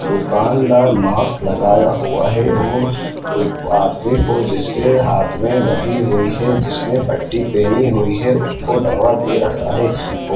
दुकानदार मास्क लगाया हुआ है और आ आदमी को जिसके हाथ मे लगी हुई है जिसने पट्टी पेहनी हुई है उसको दवा दे रहा है और --